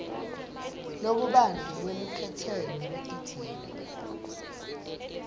lokubanti lwelukhetselo lwetidzingo